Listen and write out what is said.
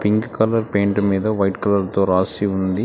Pink colour paint మీద white colour తో రాసి ఉంది.